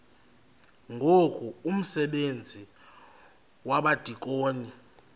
ngoku umsebenzi wabadikoni